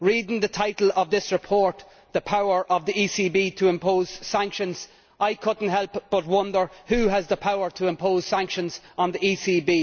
Reading the title of this report The power of the ECB to impose sanctions', I could not help but wonder who has the power to impose sanctions on the ECB?